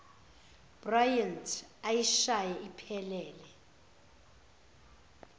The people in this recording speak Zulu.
bryant eyishaye iphelele